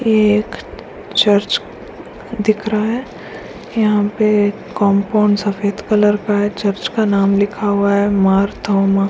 एक चर्च दिख रहा है यहाँ पे एक कंपाउंड सफ़ेद कलर का है चर्च नाम लिखा हुआ है मारतोमा।